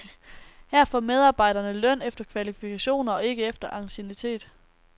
Her får medarbejderne løn efter kvalifikationer og ikke efter anciennitet.